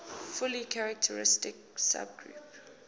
fully characteristic subgroup